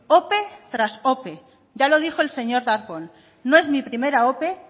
ope tras ope ya lo dijo el señor darpón no es mi primera ope